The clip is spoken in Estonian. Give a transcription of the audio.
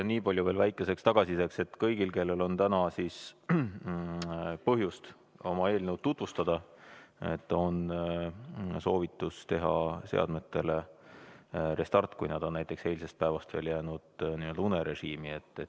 Nii palju veel väikeseks tagasisideks, et kõigil, kellel on täna põhjust oma eelnõu tutvustada, on soovitus teha seadmetele restart, kui näiteks arvuti on eilsest päevast veel jäänud n‑ö unerežiimile.